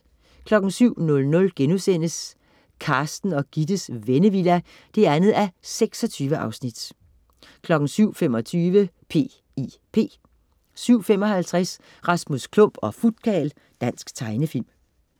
07.00 Carsten og Gittes Vennevilla 2:26* 07.25 P.I.P 07.55 Rasmus Klump og Futkarl. Dansk tegnefilm